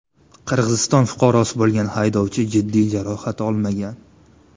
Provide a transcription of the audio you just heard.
Qirg‘iziston fuqarosi bo‘lgan haydovchi jiddiy jarohat olmagan.